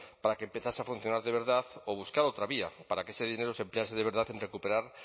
para que empezase a funcionar de verdad o buscar otra vía para que ese dinero se emplease de verdad en recuperar